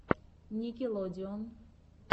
никелодеон